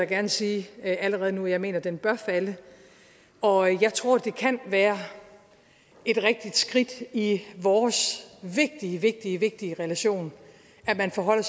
gerne sige allerede nu at jeg mener at den bør falde og jeg tror det kan være et rigtigt skridt i vores vigtige vigtige vigtige relation at vi forholder